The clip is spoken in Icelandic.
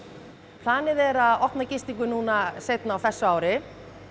planið er að opna gistingu núna seinna á þessu ári